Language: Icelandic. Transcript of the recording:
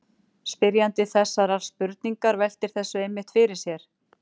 Spyrjandi þessarar spurningar veltir þessu einmitt fyrir sér.